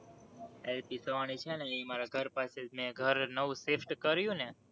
L. Psavani છે ને એ મારા ઘર પાસે, મેં ઘર નવું shift કર્યું ને!